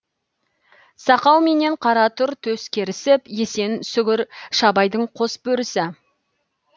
сақау менен қара тұр төс керісіп есен сүгір шабайдың қос бөрісі